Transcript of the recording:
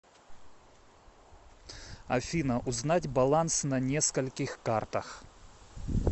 афина узнать баланс на нескольких картах